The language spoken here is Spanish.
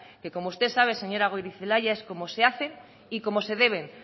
que como usted sabe señora goirizelaia es como se hacen y como se deben